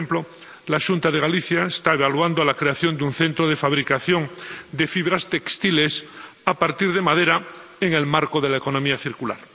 por ejemplo, la Xunta de Galicia está evaluando la creación de un centro de fabricación de fibras textiles, a partir de madera, en el marco de la economía circular.